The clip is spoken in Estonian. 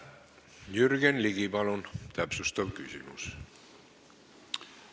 Jürgen Ligi, palun täpsustav küsimus!